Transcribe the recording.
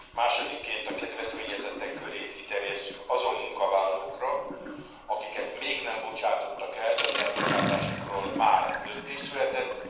Másodikként, a kedvezményezettek körét kiterjesszük azon munkavállalókra, akiket még nem bocsátottak el, de az elbocsátásukról már döntés született.